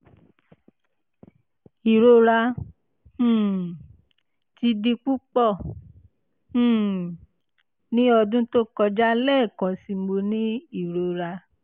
irora um ti di pupọ um ni ọdun to kọja lẹẹkansi mo ni irora